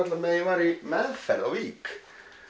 meðan ég var í meðferð á Vík